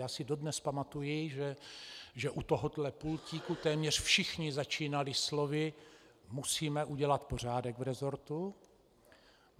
Já si dodnes pamatuji, že u tohohle pultíku téměř všichni začínali slovy: Musíme udělat pořádek v resortu.